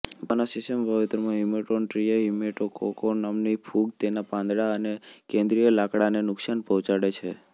જાવાના સીસમ વાવેતરોમાં હીમેટોનટ્રીયા હીમેટોકોકો નામની ફૂગ તેના પાંદડા અને કેંદ્રીય લાકડાને નુકશાન પહોંચાડે છે